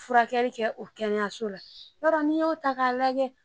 furakɛli kɛ o kɛnɛyaso la i b'a dɔn n'i y'o ta k'a lajɛ